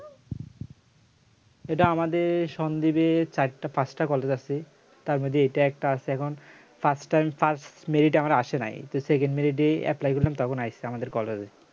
এটা আমাদের সন্দীপের চারটা পাঁচটা কলেজ আছে তার মধ্যে এটা একটা আছে এখন first time first মেরিট আমার আসে নাই তো second merit এই apply করলাম তখন আসছে আমাদের